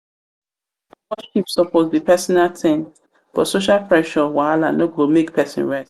worship suppose be pesinal tin but social pressure wahala no go make pesin rest.